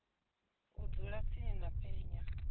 u dzula dzi tshi penya